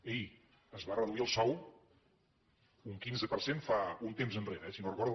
ei es va reduir el sou un quinze per cent un temps enrere si no ho recordo